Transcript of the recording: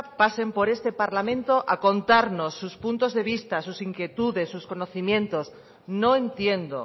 pasen por este parlamento a contarnos sus puntos de vista sus inquietudes sus conocimientos no entiendo